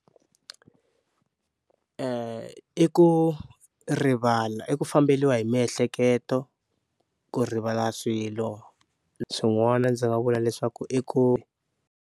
I ku rivala i ku famberiwa hi miehleketo ku rivala swilo swin'wana ndzi nga vula leswaku i ku.